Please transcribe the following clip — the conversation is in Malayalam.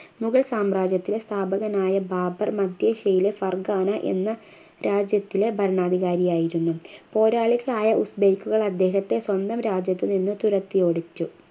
മുഗൾ സാമ്രാജ്യത്തിലെ സ്ഥാപകനായ ബാബർ മധ്യേഷ്യയിലെ ഫർഖാന എന്ന രാജ്യത്തിലെ ഭരണാധികാരിയായിരുന്നു. പോരാളികളായ ഉർഫ് ബൈക്കുകൾ അദ്ദേഹത്തെ സ്വന്തം രാജ്യത്ത് നിന്നും തുരത്തി ഓടിച്ചു